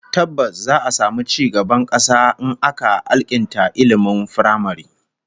Tabbas, za'a samu ci gaban kasa in aka alkinta ilmin firamare